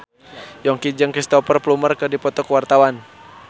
Yongki jeung Cristhoper Plumer keur dipoto ku wartawan